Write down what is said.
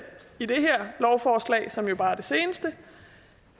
i det her lovforslag som jo bare er det seneste